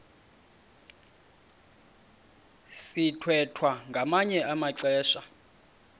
sithwethwa ngamanye amaxesha